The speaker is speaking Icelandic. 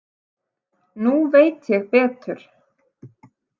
Nú veit ég betur.